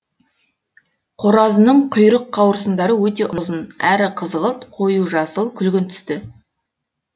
қоразының құйрық қауырсындары өте ұзын әрі қызғылт қою жасыл күлгін түсті